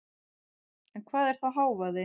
En hvað er þá hávaði?